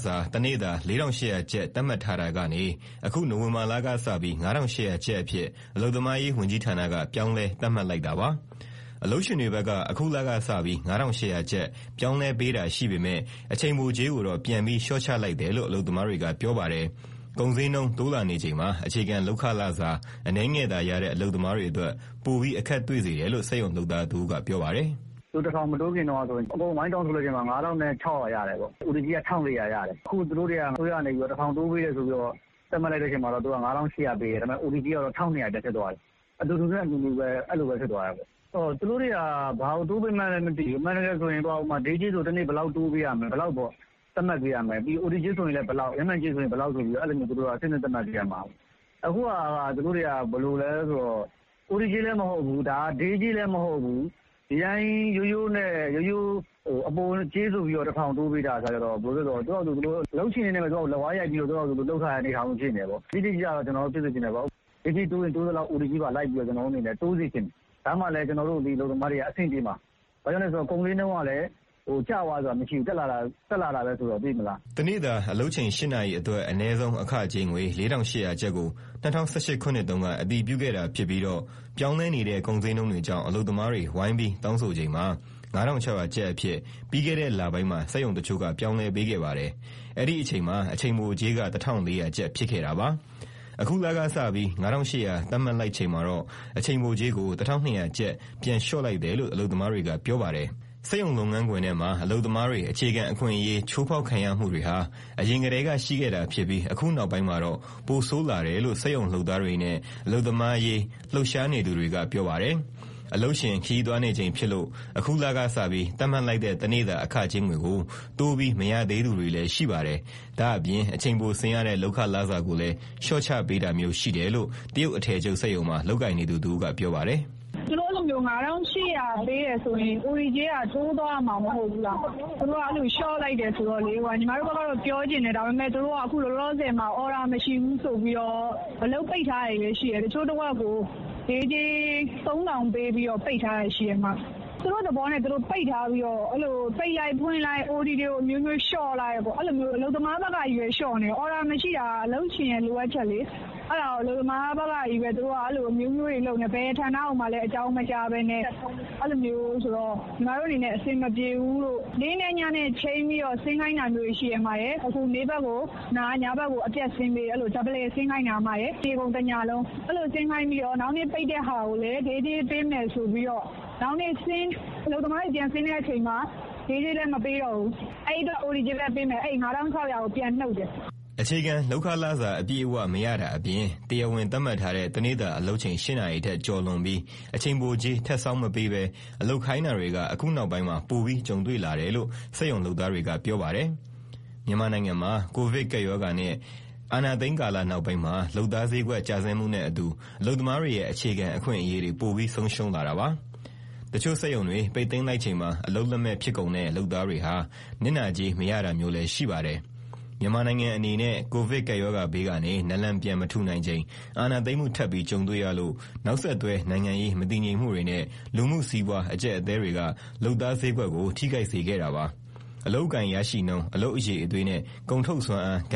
စာ တနေ့တာ ၄,၈၀၀ ကျပ် သတ်မှတ်ထားတာကနေ အခု နိုဝင်ဘာလကစပြီး ၅,၈၀၀ ကျပ်အဖြစ် အလုပ်သမားရေး ဝန်ကြီးဌာနက ပြောင်းလဲသတ်မှတ် လိုက်တာပါ။ အလုပ်ရှင်တွေဘက်က အခုလကစပြီး ၅,၈၀၀ ကျပ် ပြောင်းလဲပေးတာ ရှိပေမယ့် အချိန်ပိုကြေးကိုတော့ ပြန်ပြီး လျှော့ချလိုက်တယ်လို့ အလုပ်သမားတွေက ပြောပါတယ်။ ကုန်ဈေးနှုန်း တိုးလာနေချိန်မှာ အခြေခံလုပ်ခလစာ အနည်းငယ်သာရတဲ့ အလုပ်သမားတွေအတွက် ပိုပြီးအခက်တွေ့ စေတယ်လို့ စက်ရုံလုပ်သားတဦးက ပြောပါတယ်။ "အခု ၁,၀၀၀ မတိုးခင် အားလုံးက ဝိုင်းတောင်းဆိုချိန်မှာ ၅,၆၀၀ ရခဲ့တယ်။ OT ကြေးက ၁,၄၀၀ ရတယ်။ အခု ၁,၀၀၀ တိုးပေးတယ်ဆိုပြီး သတ်မှတ်လိုက်တဲ့ အချိန်မှာတော့ ၅,၈၀၀ ပေးတယ်။ ဒါပေမဲ့ OT ကြေးက ၁,၂၀၀ ပြန်ဖြစ်သွားတယ်။ အတူတူနဲ့ အနူနူပဲ။ သူတို့တွေက ဘာကိုတိုးပေးမှန်းလည်း မသိဘူး။ အမှန်တကယ်ဆိုရင် Day ကြေးဆိုရင် ဘယ်လောက်၊ OT ကြေးဆို ဘယ်လောက်၊ ရက်မှန်ကြေးက ဘယ်လောက်ဆိုပြီး အဆင့်ဆင့် သတ်မှတ်ပေးရမှာ။ အခုဟာက သူတို့က OT ကြေးလည်းမဟုတ်၊ Day ကြေးလည်းမဟုတ်၊ ဒီအတိုင်း အပိုကြေးဆိုပြီး ၁,၀၀၀ တိုးပေးတဲ့ အခါကျတော့ အလုပ်ရှင်တွေနဲ့ လက်ဝါးရိုက်ပြီး လုပ်ထားတဲ့ အနေအထားမျိုးပဲ ဖြစ်နေတာပေါ့။ တိတိကျကျ ဖြစ်စေချင်တယ်။ Day ကြေးတိုးရင် တိုးသလောက် OT ကြေးလည်း တိုးစေချင်တယ်။ ဒါမှလည်း အလုပ်သမားတွေက အဆင်ပြေမှာ။ ဘာကြောင့်လဲဆိုတော့ ကုန်ဈေးနှုန်းတွေက ကျသွားတယ်မရှိဘူး၊ တက်လာတာပဲရှိတယ်။" တနေ့တာ အလုပ်ချိန် ၈ နာရီအတွက် အနည်းဆုံးအခကြေးငွေ ၄,၈၀၀ ကျပ်ကို ၂၀၁၈ ခုနှစ်တုန်းက အတည်ပြုခဲ့တာဖြစ်ပြီးတော့ ပြောင်းလဲနေတဲ့ ကုန်ဈေးနှုန်းတွေကြောင့် အလုပ်သမားတွေ ဝိုင်းပြီးတောင်းဆိုချိန်မှာ ၅,၆၀၀ ကျပ်အဖြစ် ပြီးခဲ့တဲ့ လပိုင်းမှာ စက်ရုံတချို့က ပြောင်းလဲပေးခဲ့ပါတယ်။ အဲဒီအချိန်မှာ အချိန်ပိုကြေးက ၁,၄၀၀ ကျပ် ဖြစ်ခဲ့တာပါ။ အခုလကစပြီး ၅,၈၀၀ သတ်မှတ်လိုက်ချိန်မှာ တော့ အချိန်ပိုကြေးကို ၁,၂၀၀ ကျပ် ပြန်လျှော့လိုက်တယ်လို့ အလုပ်သမားတွေက ပြောပါတယ်။ စက်ရုံလုပ်ငန်းခွင်ထဲမှာ အလုပ်သမားတွေ အခြေခံအခွင့်အရေး ချိုးဖောက်ခံရမှုတွေဟာ အရင်ကတည်းက ရှိခဲ့တာ ဖြစ်ပြီး၊ အခုနောက်ပိုင်းမှာတော့ ပိုဆိုးလာတယ်လို့ စက်ရုံလုပ်သားတွေနဲ့ အလုပ်သမားအရေး လှုပ်ရှားနေသူတွေက ပြောပါတယ်။ အလုပ်ရှင် ခရီးသွားနေချိန်ဖြစ်လို့ အခုလကစပြီး သတ်မှတ်လိုက်တဲ့ တနေ့တာ အခကြေးငွေကို တိုးပြီးမရသေးသူတွေလည်း ရှိပါတယ်။ ဒါ့အပြင် အချိန်ပိုဆင်းရတဲ့ လုပ်ခလစာကိုလည်း လျှော့ချပေးတာမျိုး ရှိတယ်လို့ တရုတ်အထည်ချုပ် စက်ရုံမှာ လုပ်ကိုင်နေသူတဦးက ပြောပါတယ်။ "သူတို့ အဲလိုမျိုး ၅,၈၀၀ ပေးတယ်ဆိုရင် OT ကြေးက တိုးသွားရမှာ မဟုတ်ဘူးလား။ သူတို့ လျှော့လိုက်တာကို ပြောချင်တယ်။ ဒါပေမဲ့ အခု သူတို့တွေက အခုလောလောဆယ်မှာ အော်ဒါမရှိဘူးဆိုပြီးတော့ အလုပ်ပိတ်ထားတာတွေလည်း ရှိတယ်။ တချို့တဝက်ကို Day ကြေး ၃,၀၀၀ ပေးပြီး ပိတ်ထားတယ်။ သူတို့သဘောနဲ့ သူတို့ အဲဒီလိုမျိုး ပိတ်လိုက်၊ ဖွင့်လိုက်၊ OT တွေကို အမျိုးမျိုးလျှော့လိုက်နဲ့ အလုပ်သမားဘက်ကပဲ လျှော့နေတာ။ တကယ်တော့ အော်ဒါမရှိတာက အလုပ်ရှင်ရဲ့ လိုအပ်ချက်လေ။ အဲဒါကို ဘယ်ဌာနကိုမှလည်း အကြောင်းမကြားဘဲနဲ့ အလုပ်သမားတွေကို အမျိုးမျိုးလုပ်နေတာ အဆင်မပြေဘူး။ နေ့နဲ့ညနဲ့ ချိန်းပြီးတော့ အလုပ်ဆင်းခိုင်းတာမျိုးတွေ ရှိတယ်။ နေ့ဘက်ကိုနား၊ ညဘက်ကို အပြတ်ဆင်းပေး။ အဲလို တနေကုန် တညလုံး ဆင်းခိုင်းပြီးတော့ နောက်နေ့ပိတ်တဲ့ဟာကိုလည်း Day ကြေးပေးမယ် ဆိုပြီးတော့ အလုပ်သမားတွေ ဆင်းတဲ့အခါမှာ Day ကြေးလည်း မပေးတော့ဘူး။ အဲအတွက် OT ကြေးပဲ ပေးမယ်ဆိုပြီး Day ကြေးထဲက ပြန်နှုတ်တာမျိုးတွေလည်း ရှိတယ်။" အခြေခံလုပ်ခ လစာအပြည့်အဝ မရတာအပြင်၊ တရားဝင်သတ်မှတ်ထားတဲ့ တနေ့တာ အလုပ်ချိန် ၈ နာရီထက် ကျော်လွန်ပြီး၊ အချိန်ပိုကြေး ထပ်ဆောင်းမပေးဘဲ အလုပ်ခိုင်းတာတွေက အခု နောက်ပိုင်းမှာ ပိုပြီးကြုံတွေ့လာတယ်လို့ စက်ရုံလုပ်သားတွေက ပြောပါတယ်။ မြန်မာနိုင်ငံမှာ ကိုဗစ်ကပ်ရောဂါနဲ့ အာဏာသိမ်းကာလ နောက်ပိုင်းမှာ လုပ်သားဈေးကွက် ကျဆင်းမှုနဲ့အတူ အလုပ်သမားတွေရဲ့ အခြေခံ အခွင့်အရေးတွေ ပိုပြီးဆုံးရှုံးလာတာပါ။ တချို့စက်ရုံတွေ ပိတ်သိမ်းလိုက်ချိန်မှာ အလုပ်လက်မဲ့ ဖြစ်ကုန်တဲ့ လုပ်သားတွေဟာ နစ်နာကြေး မရတာမျိုးလည်း ရှိပါတယ်။ မြန်မာနိုင်ငံ အနေနဲ့ ကိုဗစ်ကပ်ရောဂါဘေးကနေ နာလန်ပြန်မထူနိုင်ချိန် အာဏာသိမ်းမှု ထပ်ပြီးကြုံတွေ့ရလို့ နောက်ဆက်တွဲ နိုင်ငံရေး မတည်ငြိမ်မှုတွေနဲ့ လူမှုစီးပွား အကျပ်အတည်းတွေက လုပ်သားဈေးကွက်ကို ထိခိုက်စေခဲ့တာပါ။ အလုပ်အကိုင်ရရှိနှုန်း၊ အလုပ်အရည်အသွေးနဲ့ ကုန်ထုတ်စွမ်းအား က